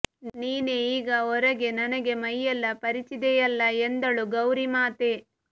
ನೀನೇ ಈಗ ಹೊರಗೆ ನನಗೆ ಮೈಯೆಲ್ಲ ಪರಚಿದೆಯಲ್ಲಾ ಎಂದಳು ಗೌರಿ ಮಾತೆ